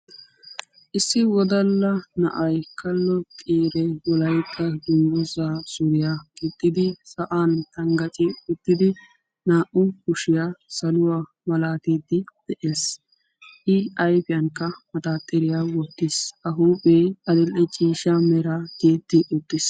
Issi wodalla na'ay wolaytta dungguzza suriya gixxiddi saluwa naa'u kushiya micciddi xeeles.